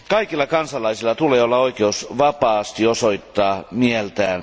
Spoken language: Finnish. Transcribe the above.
Kaikilla kansalaisilla tulee olla oikeus vapaasti osoittaa mieltään.